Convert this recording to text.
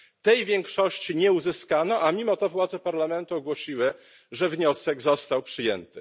Tej większości nie uzyskano, a mimo to władze Parlamentu ogłosiły, że wniosek został przyjęty.